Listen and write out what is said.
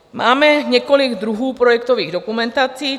Máme několik druhů projektových dokumentací.